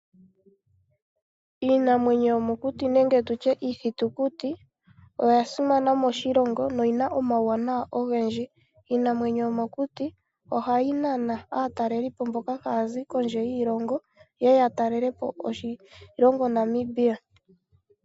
Iinamwenyo yomokuti nenge iithitukuti oya simana moshilongo shetu, oshoka oyina omauwanawa ogendji. Iinamwenyo yomokuti ohayi nana aatalelipo, mboka haya zi kondje yiilongo, yeye yatalelepo oshilongo Namibia.